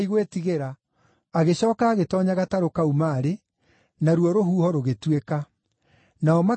Agĩcooka agĩtoonya gatarũ kau maarĩ, naruo rũhuho rũgĩtuĩka. Nao makĩgega mũno,